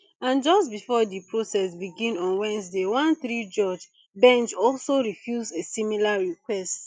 and just before di process begin on wednesday one threejudge bench also refuse a similar request